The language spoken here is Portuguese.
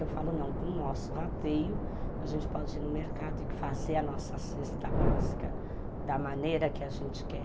Eu falo, não, com o nosso rateio, a gente pode ir no mercado e fazer a nossa cesta básica da maneira que a gente quer.